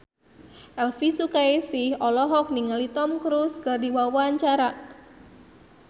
Elvy Sukaesih olohok ningali Tom Cruise keur diwawancara